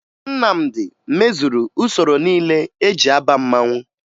Nnamdi mezuru usoro niile eji aba mmanwụ